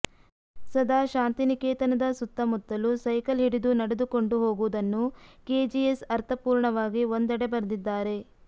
ಸದಾ ಶಾಂತಿನಿಕೇತನದ ಸುತ್ತಮುತ್ತಲೂ ಸೈಕಲ್ ಹಿಡಿದು ನಡೆದುಕೊಂಡು ಹೋಗುವುದನ್ನು ಕೆಜಿಎಸ್ ಅರ್ಥಪೂರ್ಣವಾಗಿ ಒಂದೆಡೆ ಬರೆದಿದ್ದಾರೆ